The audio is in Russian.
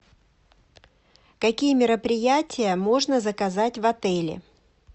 какие мероприятия можно заказать в отеле